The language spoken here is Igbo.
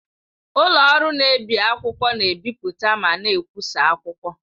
Ụlọ ọrụ na-ebi akwụkwọ na-ebipụta ma na-ekwụsa akwụkwọ.